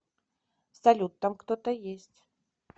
салют там кто то есть